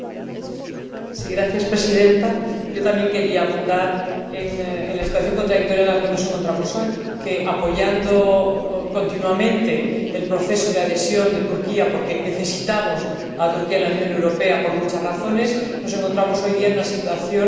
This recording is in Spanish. También quería abundar en la situación contradictoria en la que nos encontramos hoy, que, apoyando continuamente el proceso de adhesión de Turquía, porque necesitamos a Turquía en la Unión Europea por muchas razones, nos encontramos hoy en día en una situación contradictoria, puesto que, no hace